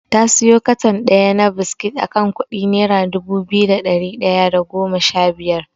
Ta siyo katon ɗaya na biskit akan kuɗi nera dubu biyu da ɗari ɗaya da goma shabiyar.